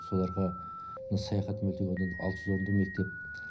соларға мына саяхат мөлтек ауданында алты жүз орындық мектеп